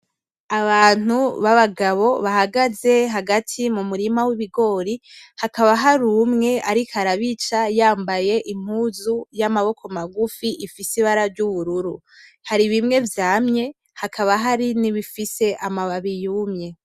Abantu babagabo bahagaze hagati mu murima w'ibigori hakaba hari umwe ariko arabica yambaye impuzu y'amaboko magufi ifise ibara ry'ubururu, hari bimwe vyamye hakaba hari nibifise amababi yumye.